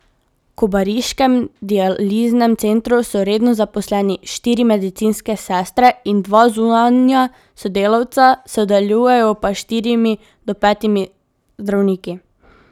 V kobariškem dializnem centru so redno zaposleni štiri medicinske sestre in dva zunanja sodelavca, sodelujejo pa s štirimi do petimi zdravniki.